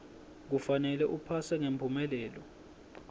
kufanele uphase ngemphumelelo